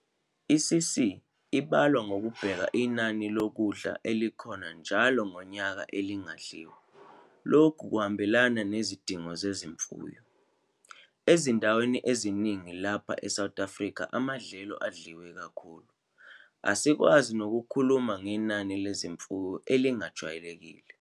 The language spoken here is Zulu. I'CC' ibalwa ngokubheka inani lokudla elikhona njalo ngonyaka elingadliwa, lokhu kuhambelana nezidingo zezimfuyo. Ezindaweni eziningi lapha eSouth Afrika amadlelo adliwe kakhulu, asikwazi nokukhuluma ngenani lezimfuyo elijwayelekile.